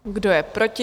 Kdo je proti?